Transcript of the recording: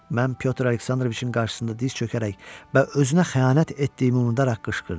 Mən Pyotr Aleksandroviçin qarşısında diz çökərək və özünə xəyanət etdiyimi unudaraq qışqırdım.